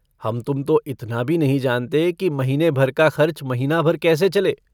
हम-तुम तो इतना भी नहीं जानते कि महीने भर का खर्च महीना-भर कैसे चले।